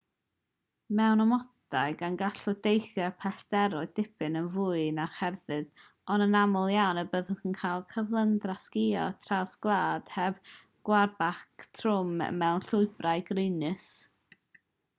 mewn amodau da gallwch deithio pellteroedd dipyn yn fwy na cherdded ond anaml iawn y byddwch yn cael cyflymdra sgïo traws gwlad heb gwarbac trwm mewn llwybrau graenus